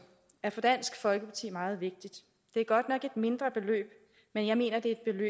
er for dansk folkeparti meget vigtigt det er godt nok et mindre beløb men jeg mener det er et